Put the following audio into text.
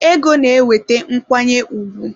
Ego na-eweta nkwanye ùgwù.